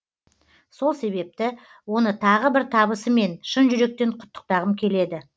сол себепті оны тағы бір табысымен шын жүректен құттықтағым келеді